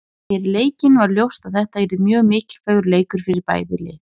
Fyrir leikinn var ljóst að þetta yrði mjög mikilvægur leikur fyrir bæði lið.